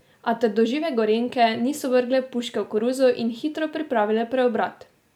A trdožive Gorenjke niso vrgle puške v koruzo in hitro pripravile preobrat.